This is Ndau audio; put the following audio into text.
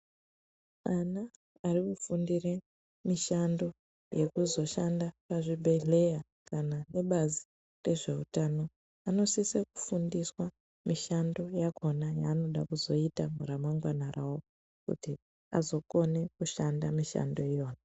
Ana ari kufundire mishando wekuzo shanda mu zvibhedhleya kana ebazi rezve utano anosise kufundiswa mishando yakona yavanoda kuzoita ra mangwana kuti azo kone kushanda mishando iyona.